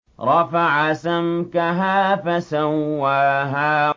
رَفَعَ سَمْكَهَا فَسَوَّاهَا